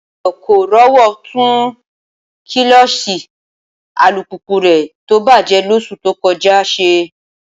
Ayọ̀ kò rówó tún kílọ́ọ̀ṣì alùpùpù rẹ̀ tó bàjẹ́ lóṣù tó kọjá ṣe